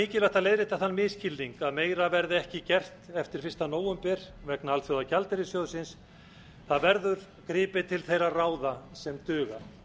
mikilvægt að leiðrétta þann misskilning að meira verði ekki gert eftir fyrsta nóvember vegna alþjóðagjaldeyrissjóðsins það verður gripið til þeirra ráða sem duga